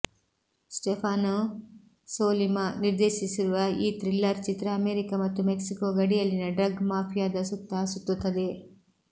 Stefano Sollima ನಿರ್ದೇಶಿಸಿರುವ ಈ thriller ಚಿತ್ರ ಅಮೆರಿಕ ಮತ್ತು ಮೆಕ್ಸಿಕೋ ಗಡಿಯಲ್ಲಿನ ಡ್ರಗ್ ಮಾಫಿಯಾದ ಸುತ್ತಾ ಸುತ್ತುತ್ತದೆ